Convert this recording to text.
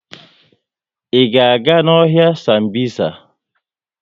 I ga-aga n'ọhịa Sambisa?